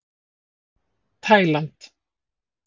Taíland